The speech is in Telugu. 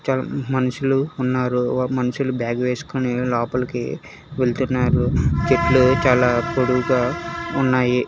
త మనుషులు ఉన్నారు మనుషులు బ్యాగ్ వేసుకొని లోపలికి వెళ్తున్నారు చెట్లు చాలా పొడవుగా ఉన్నాయి.